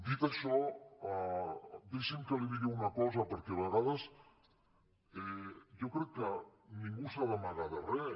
dit això deixi’m que li digui una cosa perquè a vegades jo crec que ningú no s’ha d’amagar de res